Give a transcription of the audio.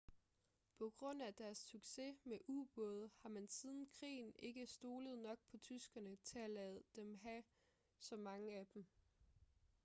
på grund af deres succes med ubåde har man siden krigen ikke stolet nok på tyskerne til at lade dem have mange af dem